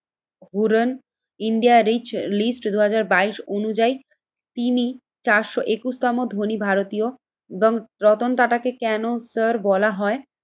হুরেন India rich list দুই হাজার বাইশ অনুযায়ী তিনি চারশো একুশ তম ধনী ভারতীয় এবং রতন টাটাকে কেন স্যার বলা হয়?